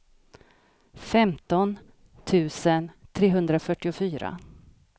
femton tusen trehundrafyrtiofyra